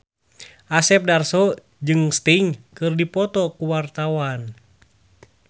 Asep Darso jeung Sting keur dipoto ku wartawan